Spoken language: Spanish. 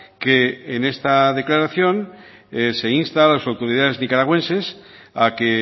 que en esta declaración se insta a las autoridades nicaragüenses a que